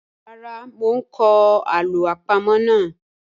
Rara, mo n kọ alo apamo naa.